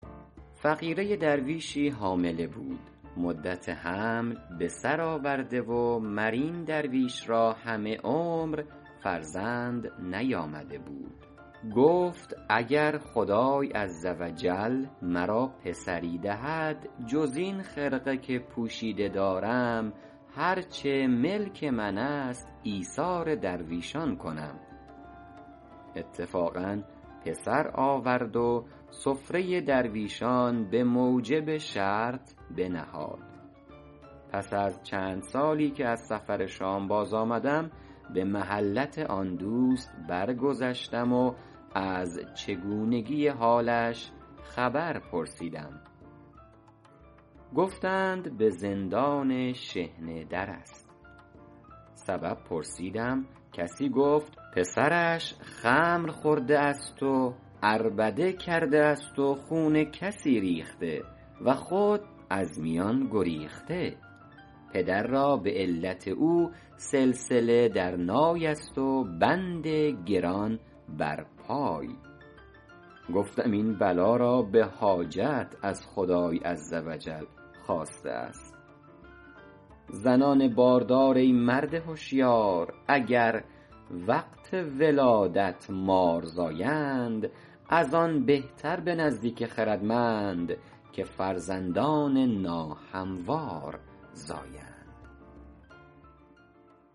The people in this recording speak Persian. فقیره درویشی حامله بود مدت حمل بسر آورده و مر این درویش را همه عمر فرزند نیامده بود گفت اگر خدای عز و جل مرا پسری دهد جز این خرقه که پوشیده دارم هر چه در ملک من است ایثار درویشان کنم اتفاقا پسر آورد و سفره درویشان به موجب شرط بنهاد پس از چند سالی که از سفر شام باز آمدم به محلت آن دوست برگذشتم و از چگونگی حالش خبر پرسیدم گفتند به زندان شحنه در است سبب پرسیدم کسی گفت پسرش خمر خورده است و عربده کرده است و خون کسی ریخته و خود از میان گریخته پدر را به علت او سلسله در نای است و بند گران بر پای گفتم این بلا را به حاجت از خدای عز و جل خواسته است زنان باردار ای مرد هشیار اگر وقت ولادت مار زایند از آن بهتر به نزدیک خردمند که فرزندان ناهموار زایند